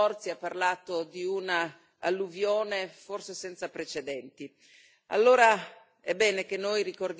La protezione civile ha raddoppiato gli sforzi, ha parlato di una alluvione forse senza precedenti.